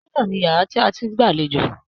Pálọ̀ ni yàrá tí a ti ń gbàlejò